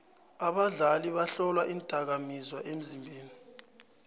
abadlali bahlolwa iindakamizwa emzimbeni